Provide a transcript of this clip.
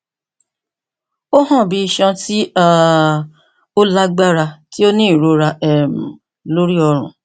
o han bi iṣan ti um o lagbara ti o ni irora um lori ọrun